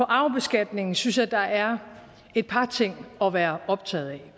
arvebeskatningen synes jeg der er et par ting at være optaget af